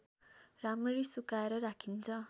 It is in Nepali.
राम्ररी सुकाएर राखिन्छ